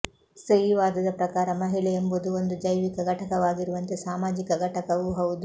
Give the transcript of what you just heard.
ಸ್ತ್ರೀವಾದದ ಪ್ರಕಾರ ಮಹಿಳೆ ಎಂಬುದು ಒಂದು ಜೈವಿಕ ಘಟಕವಾಗಿರುವಂತೆ ಸಾಮಾಜಿಕ ಘಟಕವೂ ಹೌದು